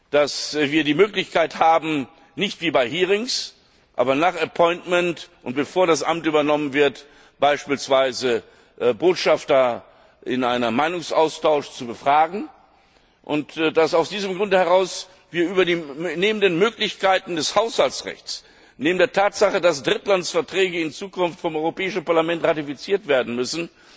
dass wir die Möglichkeit haben, nicht wie bei Anhörungen, aber nach Ernennung und bevor das Amt übernommen wird, beispielsweise Botschafter in einem Meinungsaustausch zu befragen, und dass wir aus diesem Grunde heraus neben den Möglichkeiten des Haushaltsrechts, neben der Tatsache, dass Drittlandsverträge in Zukunft vom Europäischen Parlament ratifiziert werden müssen,